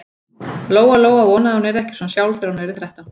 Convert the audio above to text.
Lóa-Lóa vonaði að hún yrði ekki svona sjálf þegar hún yrði þrettán.